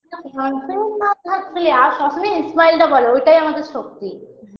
confident না থাকবে আর সবসময় smile -টা বড়ো ওটাই আমাদের শক্তি